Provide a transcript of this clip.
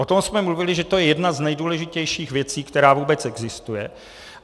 O tom jsme mluvili, že je to jedna z nejdůležitějších věcí, která vůbec existuje.